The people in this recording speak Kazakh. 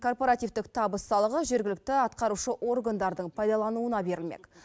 корпортивтік табыс салығы жергілікті атқарушы органдардың пайдалануына берілмек